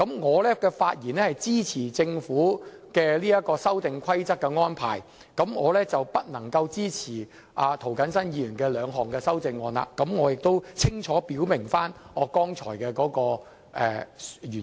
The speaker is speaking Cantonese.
我發言支持政府提出的《修訂規則》，不支持涂謹申議員提出的兩項議案，原因剛才我亦清楚表明。